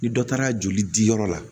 Ni dɔ taara joli diyɔrɔ la